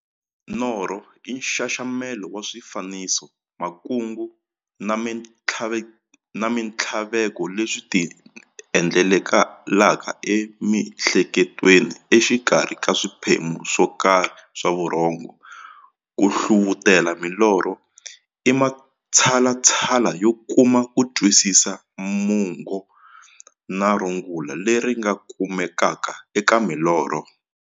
Norho i nxaxamelo wa swifaniso, makungu na minthlaveko leswi ti endlekelaka e mihleketweni exikarhi ka swiphemu swo karhi swa vurhongo. Ku hlavutela milorho i matshalatshala yo kuma kutwisisa mungo na rungula leri nga kumekaka eka milorho.